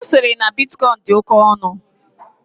Osiri na bitcoin dị oke ọnụ.